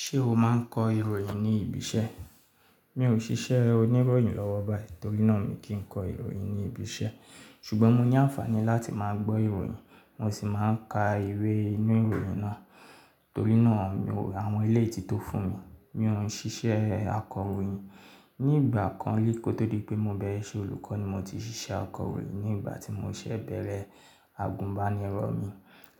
Ṣé o máa ń kọ ìròyìn ní ibi iṣẹ́? Mi ò ṣiṣẹ́ oníròyìn lọ́wọ́ báyìí torínà mi kì ń kọ ìròyìn ní ibi iṣẹ́ ṣùgbọ́n mo ní àǹfààní láti máa gbọ́ ìròyìn mo sì máa ń ka ìwé inú ìròyìn náà torínà àwọn ilé ìtítọ́ fún mi. Mi ò ń ṣiṣẹ́ akọ̀ròyìn. Ni ìgbà kan líkò tó dé pé mo bẹ̀rẹ̀ iṣẹ́ olùkọ́ ni mo ti ṣiṣẹ́ akọ̀ròyìn ní ìgbà tí mo ṣẹ̀ bẹ̀rẹ̀ àgùnbánirọ̀ mi.